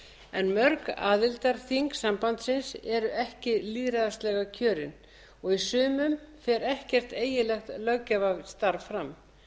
en mörg aðildarþing sambandsins eru ekki lýðræðislega kjörin og í sumum fer ekkert eiginlegt löggjafarstarf fram